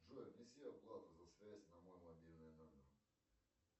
джой внеси оплату за связь на мой мобильный номер